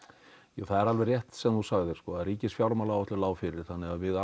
jú það er alveg rétt sem þú sagðir sko að ríkisfjármálaáætlun lá fyrir þannig að við